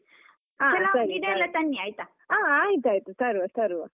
ಹಾ, ಆಯ್ತಾಯ್ತು ತರುವ ತರುವ.